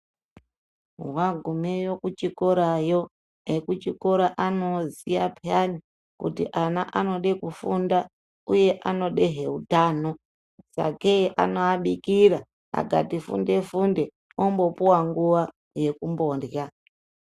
Vagumeyo ku chikorayo eku chikora ano ziya peyani kuti ana anode kufunda uye anodahe kutamba sake anova bikira akati funde funde ombo puwa nguva yeku mborya .